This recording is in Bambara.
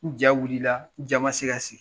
N ja wiila, n ja ma se ka sigi.